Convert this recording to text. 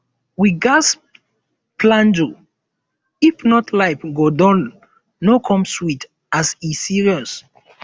we ghas flenjo if not life go dull no come sweet as e serious